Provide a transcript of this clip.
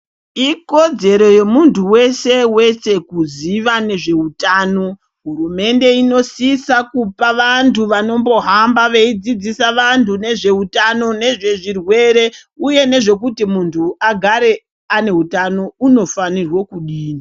Ikodzero yemuntu weshe weshe kuziva nezveutano. Hurumende inosisa kupa vantu vanombohamba veidzidzisa vantu nezveutano nezvezvirwere, uye nezvekuti muntu agare ane hutano unofanirwo kudini.